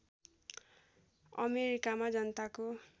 अमेरिकामा जनताको